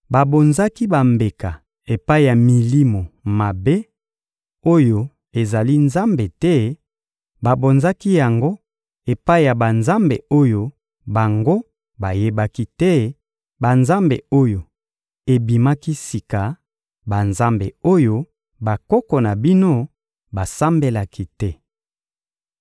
Babonzaki bambeka epai ya milimo mabe oyo ezali Nzambe te; babonzaki yango epai ya banzambe oyo bango bayebaki te, banzambe oyo ebimaki sika, banzambe oyo bakoko na bino basambelaki te.